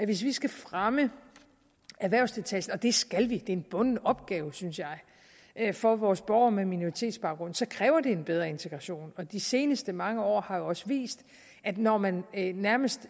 hvis vi skal fremme erhvervsdeltagelsen og det skal vi det er en bunden opgave synes jeg for vores borgere med minoritetsbaggrund så kræver det en bedre integration de seneste mange år har jo også vist at når man nærmest